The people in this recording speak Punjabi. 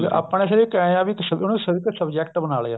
ਆਪਣੇ ਸਿਰਫ ਇਹ ਏ ਵੀ ਇਹਨੂੰ ਇੱਕ subject ਬਣਾ ਲਿਆ